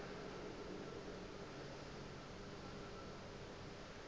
ga ke sa kgona go